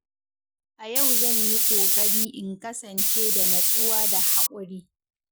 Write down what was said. A yau zan yi ƙoƙari in kasance da natsuwa da haƙuri.